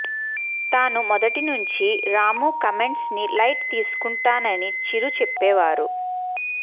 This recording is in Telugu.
తాను మొదటినుంచి రాము కామెంట్స్ ని లైట్ తీసుకుంటానని చిరు చెప్పేశారు